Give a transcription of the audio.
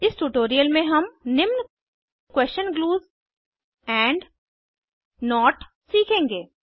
इस ट्यूटोरियल में हम निम्न question clues question clues and note सीखेंगे